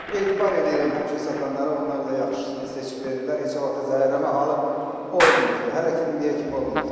Etibar eləyirəm həmişə satanlara, onlar da yaxşısını seçib verirlər, heç vaxt zəhərlənmə halı olmayıbdır, hələ ki indiyə kimi olmayıbdır.